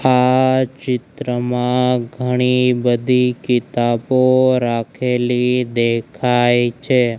આ ચિત્રમાં ઘણી બધી કિતાબો રાખેલી દેખાય છે.